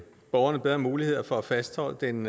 borgerne bedre muligheder for at fastholde den